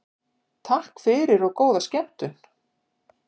Takk fyrir og góða skemmtun.